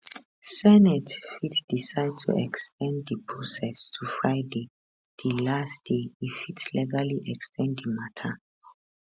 senate fit decide to ex ten d di process to friday di last day e fit legally ex ten d di matter